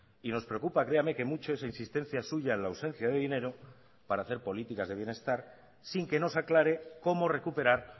y nos preocupa créame que mucho esa insistencia suya en la ausencia de dinero para hacer políticas de bienestar sin que nos aclare cómo recuperar